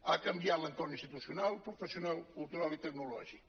ha canviat l’entorn institucional professional cultural i tecnològic